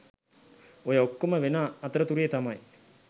ඔය ඔක්කොම වෙන අතරතුරේ තමයි